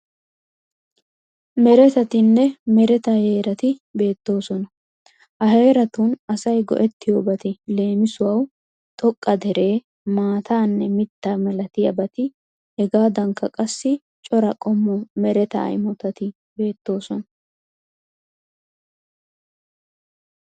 Meretatinne mereta heerati beettoosona. Ha heeratun asay go'ettiyobati leemisuwawu xoqqa dere, maataanne mittaa milatiyabati hegaadankka qassi cora qommo mereta imotati beettoosona.